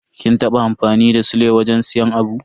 Kin taba amfani da sile wajen siyan abu?